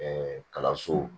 kalanso